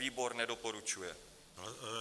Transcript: Výbor nedoporučuje